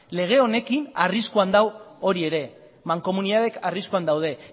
lege honekin arriskuan dau hori ere mankomunidadeak arriskuan daude